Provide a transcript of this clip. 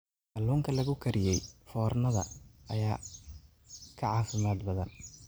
Kaluunka lagu kariyey foornada ayaa ka caafimaad badan.